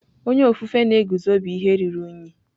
Onye ofufe na-eguzo bụ ihe ruru unyi.